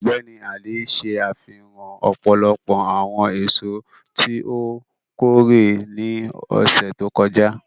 Ọgbẹni Ali ṣe afihan ọpọlọpọ awọn eso ti o kore ni ọsẹ to kọja.